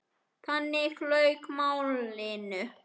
Þannig lauk málinu.